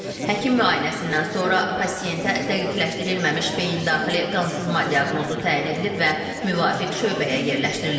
Həkim müayinəsindən sonra pasientə dəqiqləşdirilməmiş beyindaxili qansızma diaqnozu təyin edilib və müvafiq şöbəyə yerləşdirilib.